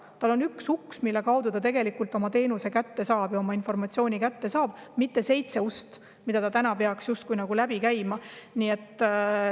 Tal on üks uks, mille kaudu ta oma teenuse kätte saab, oma informatsiooni kätte saab, mitte seitse ust, mida ta täna justkui peaks läbi käima.